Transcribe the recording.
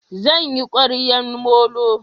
Zan yi ƙwaryan molo